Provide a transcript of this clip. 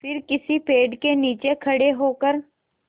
फिर किसी पेड़ के नीचे खड़े होकर